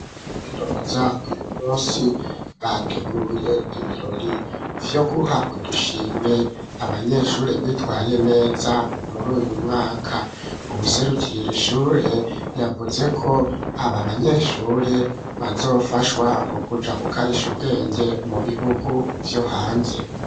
Kaminuza uyu munsi bateguye ibirori vyo guha udushimwe abanyeshure bitwaye neza muri uyu mwaka, ubuserukirira ishure yavuze ko aba banyeshure bazofashwa mu kuja gukarisha ubwenge mu bihugu vyo hanze.